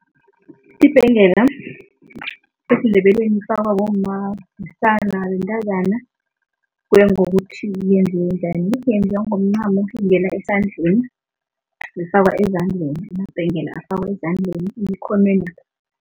Ibhengela, esiNdebeleni ifakwa bomma, besana, bentazana, kuya ngokuthi yenziwe njani. Yenziwa ngomncamo, ingena esandleni, ifakwa ezandleni. Amabhengele afakwa ezandleni emkhonwenapha.